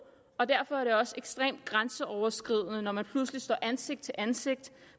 og derfor er det også ekstremt grænseoverskridende når man pludselig står ansigt til ansigt